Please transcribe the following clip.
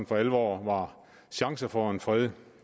for alvor var chancer for en fred